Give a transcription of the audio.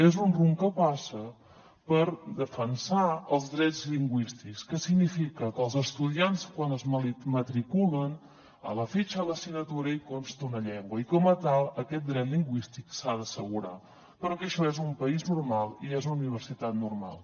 és un rumb que passa per defensar els drets lingüístics que significa que els estudiants quan es matriculen a la fitxa de l’assignatura hi consta una llengua i com a tal aquest dret lingüístic s’ha d’assegurar perquè això és un país normal i és una universitat normal